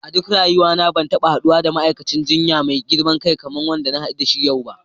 A duk rayuwa na ban taba haddu da ma'aikatan jinya mai girman kai kaman wanda na hadu yau ba.